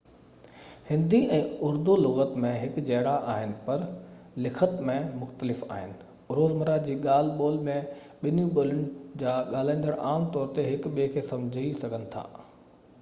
هندي ۽ اردو لُغت ۾ هڪجهڙا آهن پر لکت ۾ مختلف آهن روزمره جي ڳالهه ٻولهه ۾ ٻنهي ٻولين جا ڳالهائيندڙ عام طور هڪ ٻئي کي سمجهي سگهن ٿا